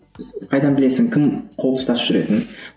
қайдан білесің кім қол ұстасып жүретінін